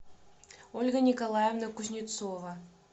ольга николаевна кузнецова